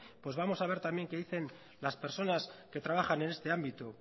pues vamos a ver también que dicen las personas que trabajan en este ámbito